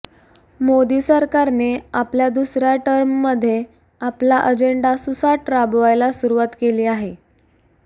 मोदी सरकारने आपल्या दुसऱ्या टर्ममधे आपला अजेंडा सुसाट राबवायला सुरूवात केली आहे